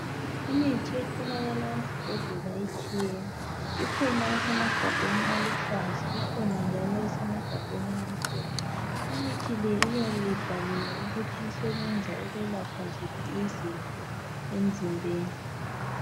Imithi etholakala ezibhedlela itshiyene ikhona esemagabheni aluhlaza ikhona njalo esemagabheni amhlophe imithi le iyabe ibhaliwe ukuthi isebenza ukwelapha ziphi izifo emzimbeni.